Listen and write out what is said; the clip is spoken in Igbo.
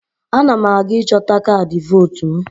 Ana m aga ịchọta kaadị vootu m.